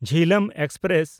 Jhelum express